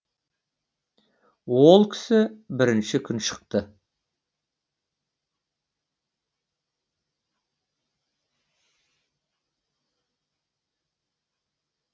ол кісі бірінші күн шықты